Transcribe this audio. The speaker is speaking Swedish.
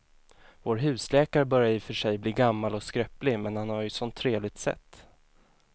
Vår husläkare börjar i och för sig bli gammal och skröplig, men han har ju ett sådant trevligt sätt!